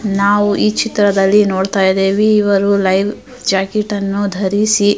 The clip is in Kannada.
ನಾವು ಈ ಚಿತ್ರದಲ್ಲಿ ನೋಡತಾ ಇದ್ದಿವಿ ಇವರು ಲೈವ್ ಜಾಕೆಟ್ ಆನು ಧರಿಸಿ --